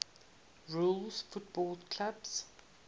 rules football clubs